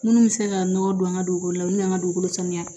Minnu bɛ se ka nɔgɔ don an ka dugukolo la olu y'an ka dugukolo sanuya